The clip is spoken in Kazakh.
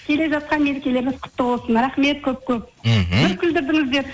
келе жатқан мерекелеріңіз құтты болсын рахмет көп көп мхм бір күлдірдіңіздер